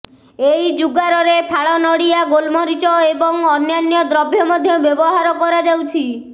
ଏଇ ଜୁଗାରରେ ଫାଳ ନଡ଼ିଆ ଗୋଲମରିଚ ଏବଂ ଅନ୍ୟାନ୍ୟ ଦ୍ରବ୍ୟ ମଧ୍ୟ ବ୍ୟବହାର କରାଯାଉଛି